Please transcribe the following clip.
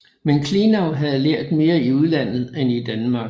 Men Klenau havde lært mere i udlandet end i Danmark